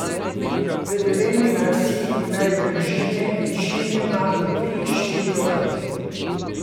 V Dolenji vasi imajo družine večinoma po tri, štiri otroke.